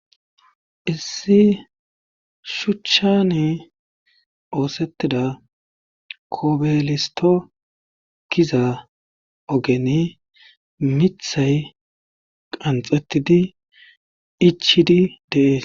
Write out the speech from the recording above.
Issi shucani oosetida kobelisto giza ogeni miththay qanxxetidi ichidi des.